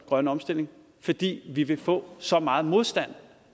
grønne omstilling fordi vi vil få så meget modstand